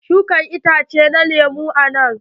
Shuka itace na lemun a nan.